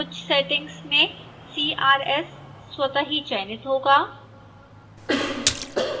कुछ सेटिंग्स में crs स्वतः ही चयनित होगा